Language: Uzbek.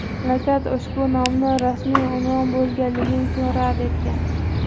Mamlakat ushbu nomni rasmiy unvon bo‘lganligi uchun rad etgan.